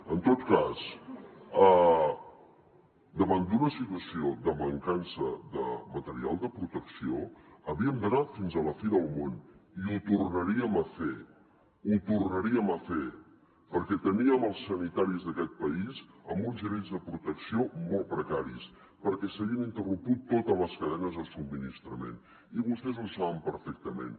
en tot cas davant d’una situació de mancança de material de protecció havíem d’anar fins a la fi del món i ho tornaríem a fer ho tornaríem a fer perquè teníem els sanitaris d’aquest país amb uns nivells de protecció molt precaris perquè s’havien interromput totes les cadenes de subministrament i vostès ho saben perfectament